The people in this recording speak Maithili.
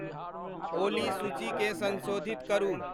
ओली सूचीकें संसोधित करू ।